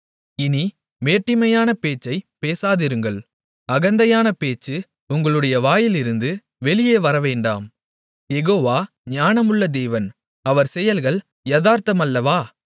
இனி மேட்டிமையான பேச்சைப் பேசாதிருங்கள் அகந்தையான பேச்சு உங்களுடைய வாயிலிருந்து வெளியே வரவேண்டாம் யெகோவா ஞானமுள்ள தேவன் அவர் செயல்கள் யதார்த்தமல்லவா